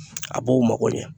A b'u mago ɲɛ